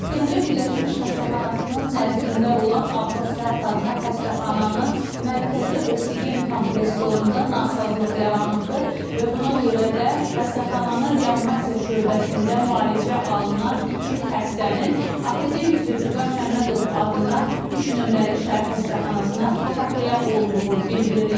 Gəncə Birləşmiş Xəstəxanasının nəzdində olan Abbas Səhət adına xəstəxananın mərkəzi oksigen kompressorunda nasazlıq yaranıbdır və buna görə də xəstəxananın reanimasiya şöbəsində müalicə alınan iki xəstənin akademik Zülfüqar Məmmədov adına 3 nömrəli şəhər xəstəxanasına təxliyə olunduğu bildirilir.